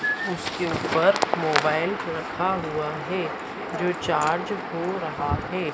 उसके ऊपर मोबाइल रखा हुआ है जो चार्ज हो रहा है।